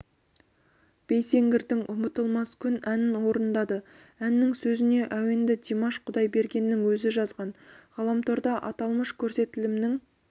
байсеңгірдің ұмытылмас күн әнін орындады әннің сөзіне әуенді димаш құдайбергеннің өзі жазған ғаламторда аталмыш көрсетілімнің